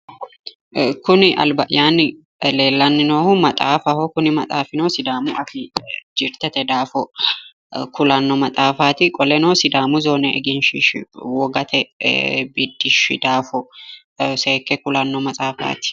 Kuni alba"yyaanni leellanni noihu maxaafaho kuni maxaafino sidaamu afii jirtete daafo kulanno maxaafaati qoleno sidaamu zoone egenshiishshi wogate ee biddishshi daafo seekke kulanno maxaafaati.